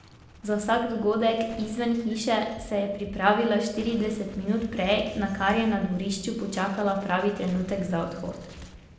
Za vsak dogodek izven hiše se je pripravila štirideset minut prej, nakar je na dvorišču počakala pravi trenutek za odhod.